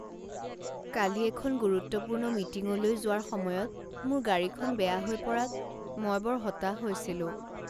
কালি এখন গুৰুত্বপূৰ্ণ মিটিংলৈ যোৱাৰ সময়ত মোৰ গাড়ীখন বেয়া হৈ পৰাত মই বৰ হতাশ হৈছিলো।